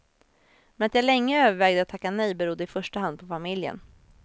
Men att jag länge övervägde att tacka nej berodde i första hand på familjen.